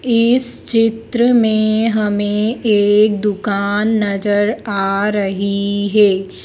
इस चित्र में हमें एक दुकान नजर आ रही है।